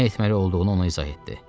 Nə etməli olduğunu ona izah etdi.